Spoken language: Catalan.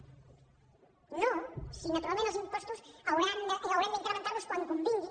no si naturalment els impostos haurem d’incrementar los quan convingui